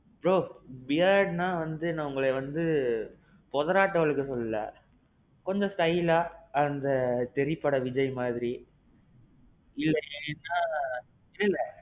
bro. beardனா வந்து உங்கள வந்து போதராட்டோம் வழக்க சொல்லல, கொஞ்சம் styleஆ அந்த தெறி பட விஜய் மாறி. இல்லைனா இல்லல்ல.